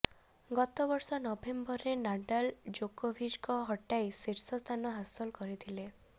ଗତବର୍ଷ ନଭେମ୍ବରରେ ନାଡାଲ୍ ଜୋକୋଭିଚଙ୍କ ହଟାଇ ଶୀର୍ଷ ସ୍ଥାନ ହାସଲ କରିଥିଲେ